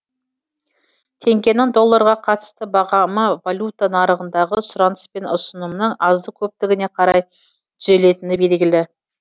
теңгенің долларға қатысты бағамы валюта нарығындағы сұраныс пен ұсынымның азды көптігіне қарай түзелетіні белгілі